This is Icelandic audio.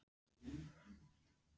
OK Kíkir þú oft á Fótbolti.net?